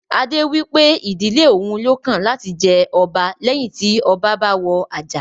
Adé wípé ìdílé òun lọ́kàn láti jẹ ọba leyin ti ọba bá wọ àjà